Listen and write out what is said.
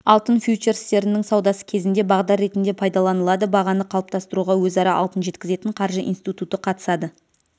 алтын фьючерстерінің саудасы кезінде бағдар ретінде пайдаланылады бағаны қалыптастыруға өзара алтын жеткізетін қаржы институты қатысады